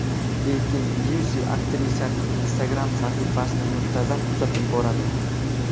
Lekin Lyusi aktrisaning Instagram sahifasini muntazam kuzatib boradi.